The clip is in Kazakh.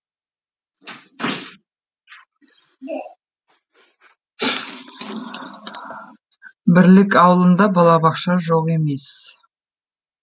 бірлік ауылында балабақша жоқ емес